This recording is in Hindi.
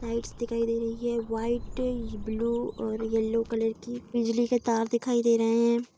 लाइट्स दिखाई दे रही है। वाइट ब्लू और येलो कलर की। बिजली के तार दिखाई दे रहें हैं।